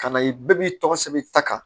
Ka na ye bɛɛ b'i tɔgɔ sɛbɛn ta kan